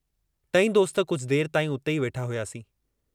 टई दोस्त कुझु देर ताई उते ई वेठा हुआसीं।